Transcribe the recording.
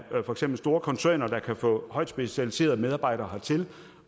store koncerner der kan få højtspecialiserede medarbejdere hertil